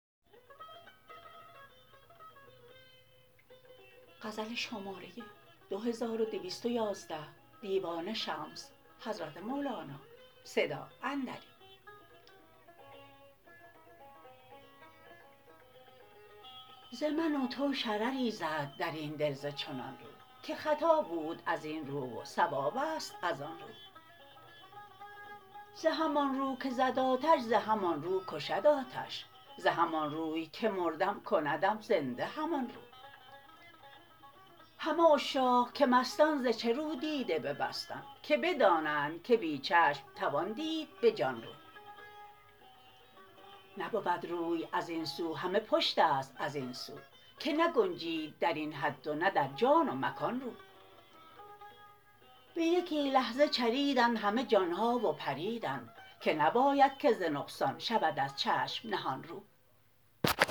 ز من و تو شرری زاد در این دل ز چنان رو که خطا بود از این رو و صواب است از آن رو ز همان رو که زد آتش ز همان رو کشد آتش ز همان روی که مردم کندم زنده همان رو همه عشاق که مستند ز چه رو دیده ببستند که بدانند که بی چشم توان دید به جان رو نبود روی از این سو همه پشت است از این سو که نگنجید در این حد و نه در جان و مکان رو به یکی لحظه چریدند همه جان ها و پریدند که نباید که ز نقصان شود از چشم نهان رو